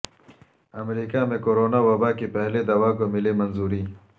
امریکا میں کورونا وبا کی پہلی دوا کو ملی منظوری